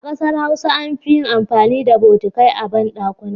A kasar Hausa an fi yin amfani da botikai a bandakuna.